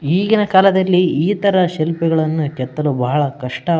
ಈಗಿನ ಕಾಲದಲ್ಲಿ ಇತರ ಶಿಲ್ಪಿಗಳನ್ನು ಕೆತ್ತಲು ಬಹಳ ಕಷ್ಟ --